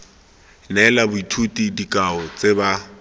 neela boithuti dikao tse ba